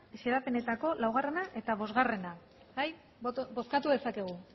xedapenetako laugarrena eta bosgarrena bozkatu dezakegu